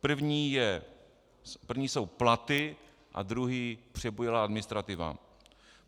První jsou platy a druhý přebujelá administrativa.